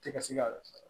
Tɛ ka se ka